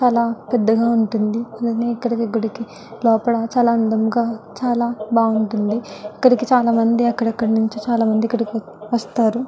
చాలా పెద్దగా ఉంటుంది. అలాగే ఎక్కడికెక్కడికే లోపల చాలా అందంగా చాలా బాగుంటుంది. ఇక్కడ చాలామంది అక్కడక్కడ నుంచి ఇక్కడికి వస్ వస్తారు.